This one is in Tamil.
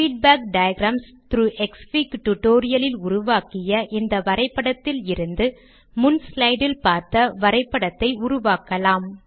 feedback diagrams through Xfig tutorial இல் உருவாக்கிய இந்த வரை படத்தில் இருந்து முன் ஸ்லைடு ல் பார்த்த வரை படத்தை உருவாக்கலாம்